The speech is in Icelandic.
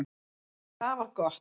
Sem er afar gott